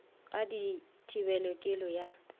ga di thibele kelo ya